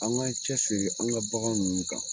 An ga cɛsiri, an ka bagan ninnu kan